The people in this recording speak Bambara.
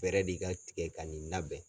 Fɛɛrɛ de ka tigɛ ka nin labɛn.